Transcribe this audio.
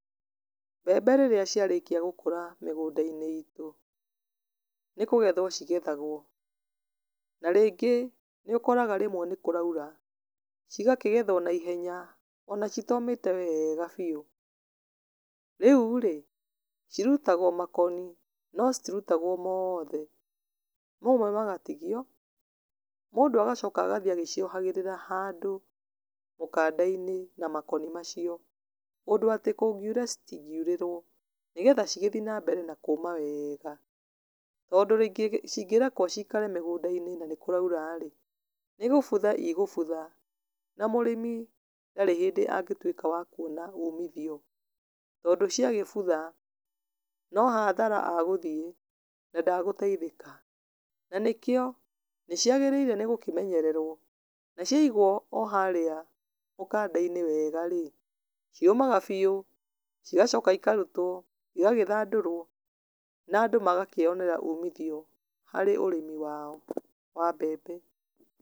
Mbembe rĩrĩa ciarĩkia gũkũra mĩgũnda-inĩ itũ, nĩkũgethwo cigethagwo, na rĩngĩ nĩũkoraga rĩmwe nĩ kũraura, cigakĩgethwo na ihenya, ona citomĩte wega biũ. Rĩu rĩ, cirutagwo makoni, no citirutagwo mothe. Mamwe magatigio, mũndũ agacoka agathiĩ agĩciohagĩrĩra handũ, mũkanda-inĩ na makoni macio. Ũndũ atĩ kũngiura citingiũrĩrwo, nĩgetha cigĩthiĩ na mbere na kũma wega. Tondũ cingĩrekwo cikare mĩgũnda-inĩ na nĩkũraura rĩ, nĩgũbutha i gũbutha, na mũrĩmi ndarĩ hindĩ angĩtuĩka wa kuona umithio. Tondũ cia gĩbutha, no hathara agũthiĩ, na ndagũteithĩka. Na nĩkĩo, nĩciagĩrĩire nĩgũkĩmenyererwo, na ciaigwo o harĩa mũkanda-inĩ wega rĩ, ciũmaga biũ, cigacoka ikarutwo, igagĩthandũrwo, na andũ magakĩonera umithio, harĩ ũrĩmi wao wa mbembe.